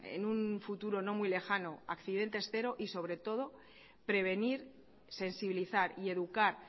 en un futuro no muy lejano accidentes cero y sobre todo prevenir sensibilizar y educar